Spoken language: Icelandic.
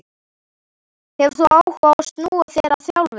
Hefur þú áhuga á að snúa þér að þjálfun?